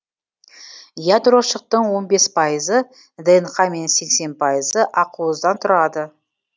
ядрошықтың он бес пайызы днқ мен сексен пайызы ақуыздан тұрады